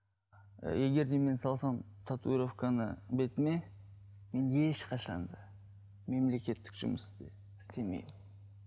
і егер де мен салсам татуировканы бетіме мен ешқашан да мемлекеттік жұмысты істемеймін